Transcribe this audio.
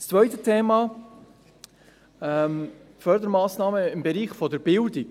Das zweite Thema sind die Fördermassnahmen im Bereich der Bildung.